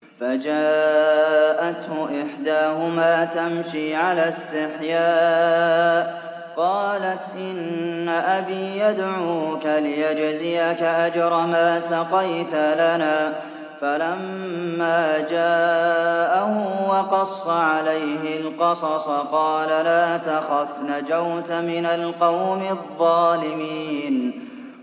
فَجَاءَتْهُ إِحْدَاهُمَا تَمْشِي عَلَى اسْتِحْيَاءٍ قَالَتْ إِنَّ أَبِي يَدْعُوكَ لِيَجْزِيَكَ أَجْرَ مَا سَقَيْتَ لَنَا ۚ فَلَمَّا جَاءَهُ وَقَصَّ عَلَيْهِ الْقَصَصَ قَالَ لَا تَخَفْ ۖ نَجَوْتَ مِنَ الْقَوْمِ الظَّالِمِينَ